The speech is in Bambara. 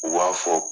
U b'a fɔ